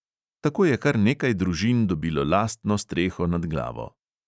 Tako je kar nekaj družin dobilo lastno streho nad glavo.